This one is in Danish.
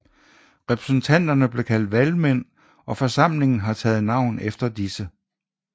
Repræsentanterne bliver kaldt valgmænd og forsamlingen har taget navn efter disse